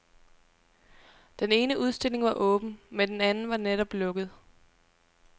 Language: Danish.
Den ene udstilling var åben, men den anden var netop lukket.